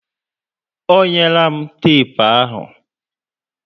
Ọ nyela m tepu ahụ